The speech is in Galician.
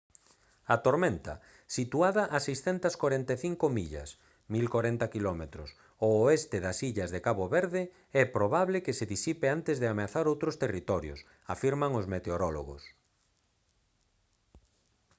a tormenta situada a 645 millas 1040 km ao oeste das illas de cabo verde é probable que se disipe antes de ameazar outros territorios afirman os meteorólogos